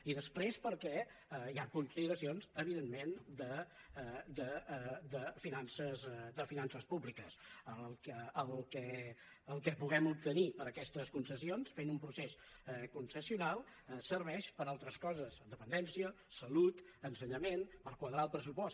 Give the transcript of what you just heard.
i després perquè hi han consideracions evidentment de finances públiques el que puguem obtenir per aquestes concessions fent un procés concessional serveix per a altres coses dependència salut ensenyament per quadrar el pressupost